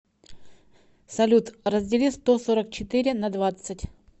салют раздели сто сорок четыре на двадцать